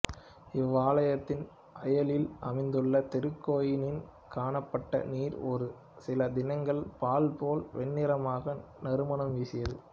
இவ்வாலயத்தின் அயலில் அமைந்துள்ள திருக்கேணியில் காணப்பட்ட நீர் ஒரு சில தினங்கள் பால் போல் வெண்ணிறமாகி நறுமணம் வீசியது